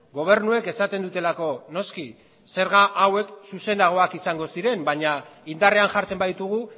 gobernuek esaten dutelako noski zerga hauek zuzenagoak izango ziren baina indarrean jartzen baditugu